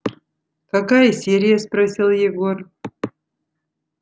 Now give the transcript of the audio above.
какая серия спросил егор